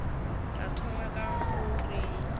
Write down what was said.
tla thoma ka go reng